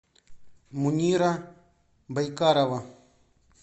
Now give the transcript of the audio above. мунира байкарова